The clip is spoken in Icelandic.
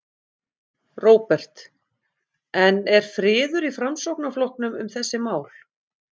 Róbert: En er friður í Framsóknarflokknum um þessi mál?